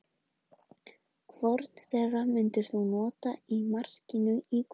Hvorn þeirra myndir þú nota í markinu í kvöld?